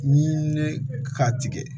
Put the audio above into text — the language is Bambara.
Ni ne ka tigɛ